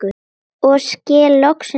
og skil loksins meinið